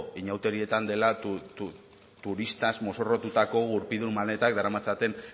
inauterietan dena turistaz mozorrotutako gurpildun maletak daramatzaten